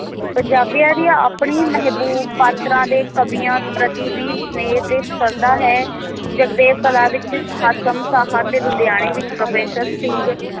ਪੰਜਾਬੀਆਂ ਦੀ ਆਪਣੀ ਮਹਿਬੂਬ ਪਾਤਰਾਂ ਦੇ ਕਵੀਆਂ ਪ੍ਰਤੀ ਵੀ ਸਨੇਹ ਤੇ ਸ਼ਰਧਾ ਹੈ ਜਗਦੇਵ ਕਲਾਂ ਵਿਚ ਹਾਸਮ ਸਾਹ ਤੇ ਲੁਧਿਆਣੇ ਵਿਚ professor ਸਿੰਘ